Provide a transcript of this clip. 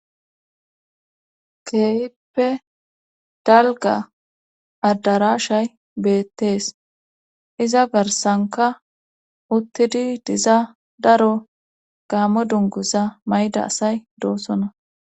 Keeyippe dalga addarashay beettees iza garsanka uttidi diza daro gaammo dunguza mayda asay doosona.